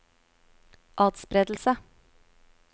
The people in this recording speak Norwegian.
atspredelse